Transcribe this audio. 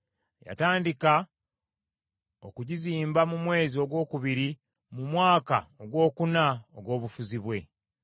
Yatandika okugizimba mu mwezi ogwokubiri mu mwaka ogwokuna ogw’obufuzi bwe.